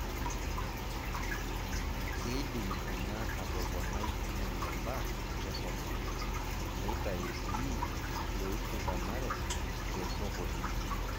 Kedim ena atoponai eneba enkisuma, neitayu sii iloishindanare te sokoni.